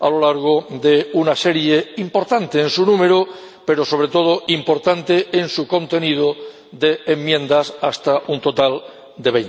a través de una serie —importante en su número pero, sobre todo, importante en su contenido— de enmiendas, hasta un total de